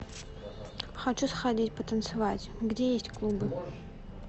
хочу сходить потанцевать где есть клубы